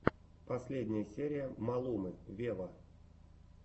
последняя серия малумы вево